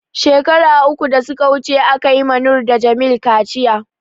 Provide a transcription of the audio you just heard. shekara uku da suka wuce, aka yi ma Noor da Jamil kaciya.